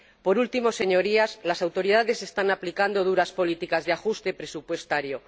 Por último, Señorías, las autoridades están aplicando duras políticas de ajuste presupuestario.